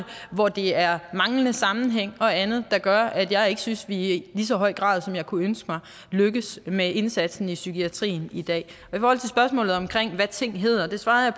hvor der er manglende sammenhæng og andet der gør at jeg ikke synes at vi i lige så høj grad som jeg kunne ønske mig lykkes med indsatsen i psykiatrien i dag i ting hedder svarede